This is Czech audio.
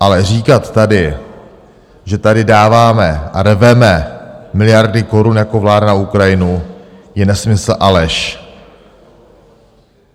Ale říkat tady, že tady dáváme a rveme miliardy korun jako vláda na Ukrajinu, je nesmysl a lež.